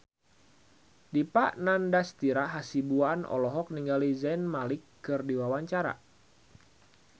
Dipa Nandastyra Hasibuan olohok ningali Zayn Malik keur diwawancara